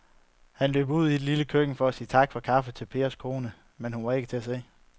Han løb ud i det lille køkken for at sige tak for kaffe til Pers kone, men hun var ikke til at se.